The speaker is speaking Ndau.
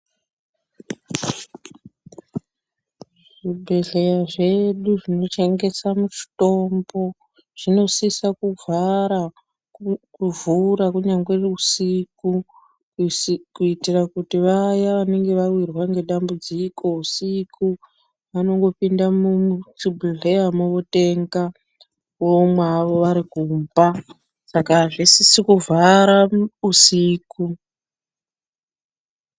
Zvibhedhleya zvedu zvinotengesa mitombo zvinosisa kuvhura kunyangwe usiku kuitira kuti vaya vanenge vawirwa ngedambudziko usiku vanongopinda muchibhedleyamwo votenga vomwa havo vari kumba saka azvisisi kuvhara usiku.